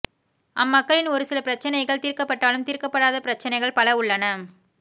அம்மக்களின் ஒரு சில பிரச்சினைகள் தீர்க்கப்பட்டாலும் தீர்க்கப்படாத பிரச்சினைகள் பல உள்ளன